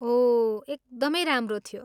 ओह, एकदमै राम्रो थियो!